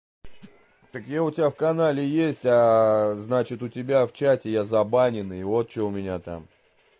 так я у тебя в канале есть значит у тебя в чате я забаненный вот что у меня там